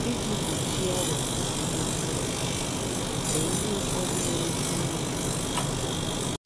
Iji gbochie ọrịa na ihe ndị ọzọ, lee ihe ụfọdụ nwere ike inyere gị aka.